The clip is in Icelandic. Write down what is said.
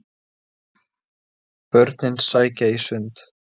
Börnin sækja í sund